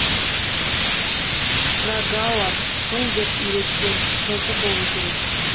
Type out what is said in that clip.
пргауар қыл деп үйреткен жылтыр болу керек